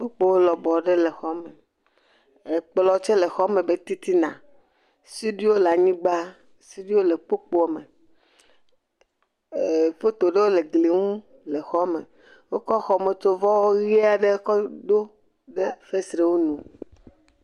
Kpukpoe lɔbɔ aɖe le exɔ me. Ekplɔ tse le xɔ megbe titina. Suɖuiwo le anyigba. Suɖuiwo le kpukpoa me. E foto ɖewo le gliwo nu le xɔa me. Wokɔ xɔmetsovɔ ʋi aɖe kɔ ɖo ɖe fesrewo nu.